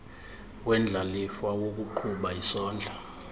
wendlalifa wokuqhuba isondla